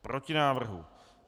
Proti návrhu.